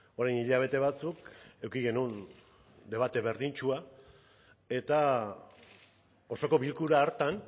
orain hilabete batzuk eduki genuen debate berdintsua eta osoko bilkura hartan